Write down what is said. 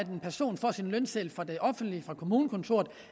en person får sin lønseddel fra det offentlige fra kommunekontoret